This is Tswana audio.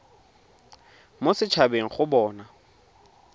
mo set habeng go bona